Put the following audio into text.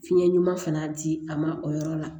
Fiɲɛ ɲuman fana di a ma o yɔrɔ la